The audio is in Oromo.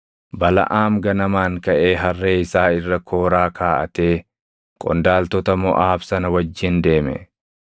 Balaʼaam ganamaan kaʼee harree isaa irra kooraa kaaʼatee qondaaltota Moʼaab sana wajjin deeme.